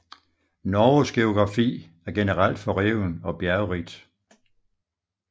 Norges geografi er generelt forreven og bjergrigt